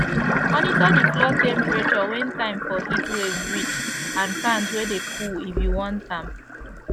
monitor de floor temperature when time for heatwaves reach and fans wey de cool if you want am